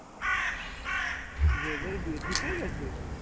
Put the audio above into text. উদয় দার বিয়ে ঠিক হয়ে গেছে